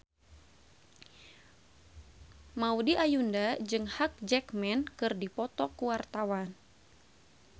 Maudy Ayunda jeung Hugh Jackman keur dipoto ku wartawan